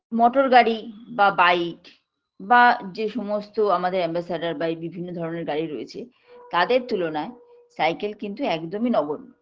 মোটরগাড়ি বা bike বা যে সমস্ত আমাদের ambassador বা বিভিন্ন ধরনের গাড়ি রয়েছে তাদের তুলনায় cycle কিন্তু একদমই নগন্য